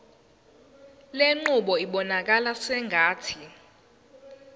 lenqubo ibonakala sengathi